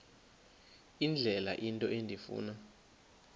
indlela into endifuna